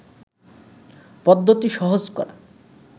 পদ্ধতি সহজ করা